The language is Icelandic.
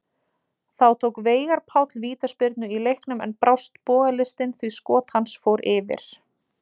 Þá tók Veigar Páll vítaspyrnu í leiknum en brást bogalistin því skot hans fór yfir.